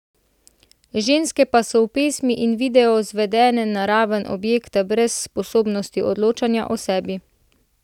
Ženske pa so v pesmi in videu zvedene na raven objekta brez sposobnosti odločanja o sebi.